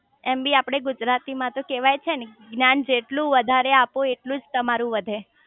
એમ બી આપડે ગુજરાતી માં તો કેવાય છે ને જ્ઞાન જેટલું વધારે આપો એટલું જ તમારું વધે